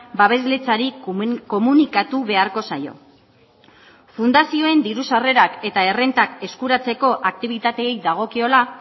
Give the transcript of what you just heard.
babesletzari komunikatu beharko zaio fundazioen diru sarrerak eta errentak eskuratzeko aktibitateei dagokiola